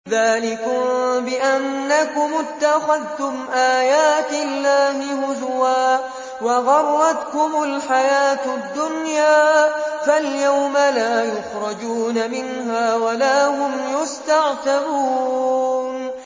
ذَٰلِكُم بِأَنَّكُمُ اتَّخَذْتُمْ آيَاتِ اللَّهِ هُزُوًا وَغَرَّتْكُمُ الْحَيَاةُ الدُّنْيَا ۚ فَالْيَوْمَ لَا يُخْرَجُونَ مِنْهَا وَلَا هُمْ يُسْتَعْتَبُونَ